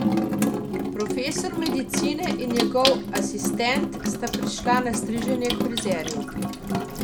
Profesor medicine in njegov asistent sta prišla na striženje k frizerju.